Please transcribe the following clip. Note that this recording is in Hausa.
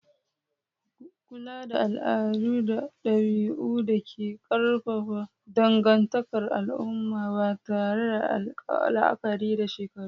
kula da al'adu da dabi'un da ke ƙarfafa dangantakar al'umma, ba tare da la'akari da shekaru ba.